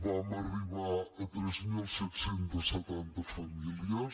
vam arribar a tres mil set cents i setanta famílies